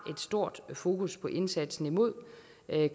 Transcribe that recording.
stort fokus på indsatsen imod